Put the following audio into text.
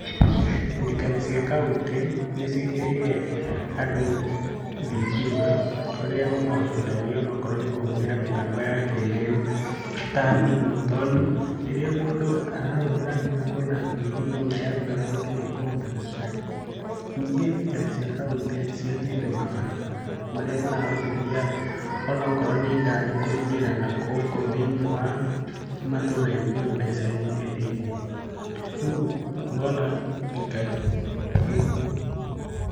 Thirikari cia kaunti, nĩciĩkĩrĩire andũ thitima, ũrĩa ũmahotithagia onakorwo nĩ kũhũthĩra mĩtambo ya kĩrĩu, ta thimũ, tondũ, rĩrĩa mũndũ arahũthĩra thimũ na kwĩna thitima onayathira mwaki nĩekũhota gũ charge. Ningĩ thirikari cia kaunti nĩciakĩte mabarabara, marĩa marahotithia, onokorwo nĩ, ngari kũingĩra na gũkũ thĩiniĩ wa, matũra-inĩ ona icagi-inĩ thĩiniĩ. Rĩu ngona thirikari